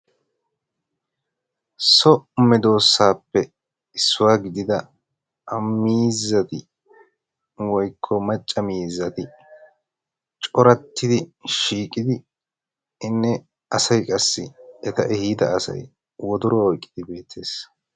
So meedosatuppe issuwaa gidida miizzati woykko macca miizzati corattidi shiiqidi inne asay qassi eta ehida asay wodoruwaa oyqqi uttiis.